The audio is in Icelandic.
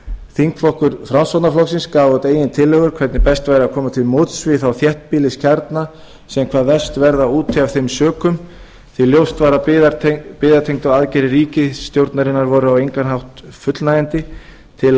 þingflokkur framsóknarflokksins gaf út eigin tillögu um hvernig best væri að koma til móts við þá þéttbýliskjarna sem hvað verst verða úti af þeim sökum því ljóst var að byggðatengdar aðgerðir ríkisstjórnarinnar voru á engan hátt fullnægjandi til